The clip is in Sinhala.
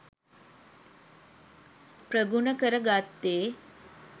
ප්‍රගුණ කර ගත්තේ